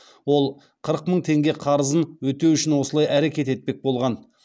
ол қырық мың теңге қарызын өтеу үшін осылай әрекет етпек болған